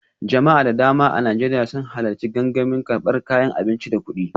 Jama'a da dama a Najeriya sun halarci gangamin karbar kayan abinci da kudi